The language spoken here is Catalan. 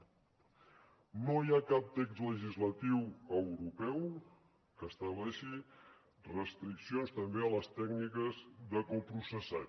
no hi ha cap text legislatiu europeu que estableixi restriccions també a les tècniques de coprocessat